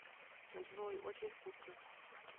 джой очень вкусно